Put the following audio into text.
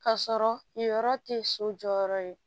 K'a sɔrɔ yen yɔrɔ tɛ so jɔyɔrɔ ye